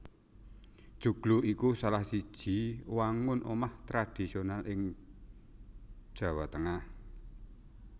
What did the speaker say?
Joglo iku salah siji wangun omah tradisional ing Jawa Tengah